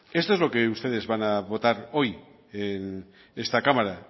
esto es lo que ustedes van a votar hoy en esta cámara